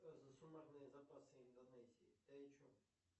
что за суммарный запасы индонезии ты о чем